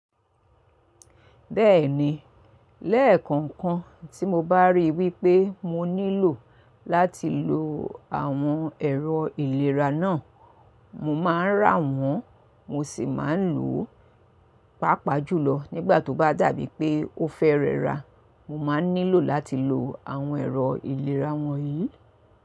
Bẹ́ẹ̀ni, lẹ́ẹ̀kọ̀ọ̀kan tí mo bá ríi wípé mo nílò láti lo àwọn ẹ̀rọ ìlera náà, mo máa ń rà wọ́n mo sì máa ń lò ó. Pápá jùlọ nígbà tó bá dàbí pé ó fẹ́ rẹ́ra, mo máa nílò láti lo àwọn ẹ̀rọ ìlera wọ̀nyí.